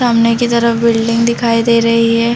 सामने की तरफ बिल्डिंग दिखाई दे रही है।